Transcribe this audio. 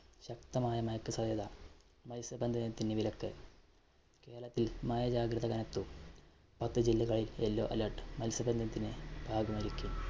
ശക്തമായ മഴയ്ക്ക് സാധ്യത. മല്‍ത്സ്യ ബന്ധനത്തിന് വിലക്ക്. കേരളത്തില്‍ മഴ ജാഗ്രത കനത്തു. പത്തു ജില്ലകളില്‍ yellow alert, മത്സ്യബന്ധനത്തിന് മായിരിക്കും.